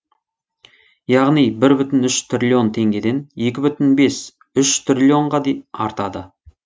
яғни бір бүтін үш триллион теңгеден екі бүтін бес үш триллионға артады